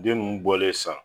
Den ninnu bɔlen san